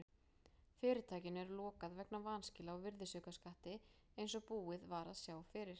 Fyrirtækinu er lokað vegna vanskila á virðisaukaskatti eins og búið var að sjá fyrir.